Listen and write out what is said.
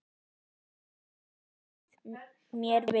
Þar sló hann mér við.